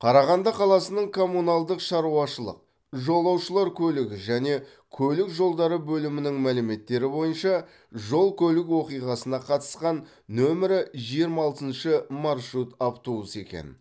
қарағанды қаласының коммуналдық шаруашылық жолаушылар көлігі және көлік жолдары бөлімінің мәліметтері бойынша жол көлік оқиғасына қатысқан нөмірі жиырма алтыншы маршрут автобусы екен